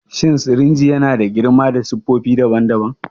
Shin sirinji yana da girma da siffofi daban-daban?